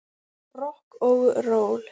Rokk og ról.